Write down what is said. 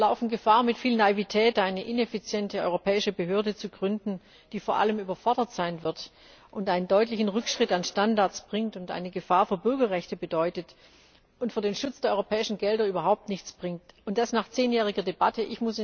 Wir laufen Gefahr, mit viel Naivität eine ineffiziente europäische Behörde zu gründen, die vor allem überfordert sein wird, einen deutlichen Rückschritt an Standards bringt und eine Gefahr für Bürgerrechte bedeutet und für den Schutz der europäischen Gelder überhaupt nichts bringt. Und das nach zehnjähriger Debatte!